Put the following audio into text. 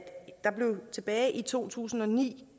der tilbage i to tusind og ni